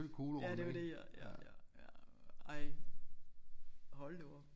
Ja det er jo det ja ja ja ja ej hold da op